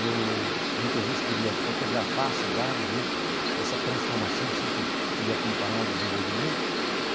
Eu muitas vezes queria fotografar a cidade né, essa transformação, sempre queria acompanhar o desenvolvimento.